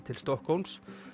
til Stokkhólms